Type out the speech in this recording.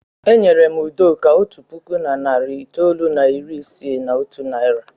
E nyere m Udoka otu puku na narị itoolu na iri isii na otu naira.